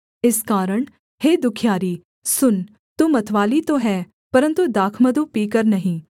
इस कारण हे दुःखियारी सुन तू मतवाली तो है परन्तु दाखमधु पीकर नहीं